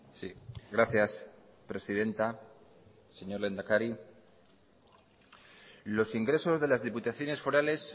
sí gracias presidenta señor lehendakari los ingresos de las diputaciones forales